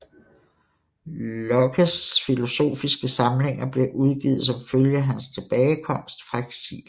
Lockes filosofiske samlinger blev udgivet som følge af hans tilbagekomst fra eksil